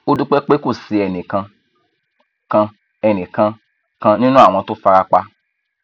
ó dúpẹ pé kò sí ẹnìkan kan ẹnìkan kan nínú àwọn tó fara pa